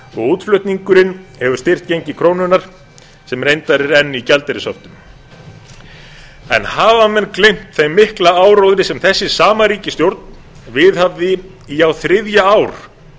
útflutningurinn hefur styrkt gengi krónunnar sem reyndar er enn í gjaldeyrishöftum en hafa menn gleymt þeim mikla áróðri sem þessi sama ríkisstjórn viðhafði í á þriðja ár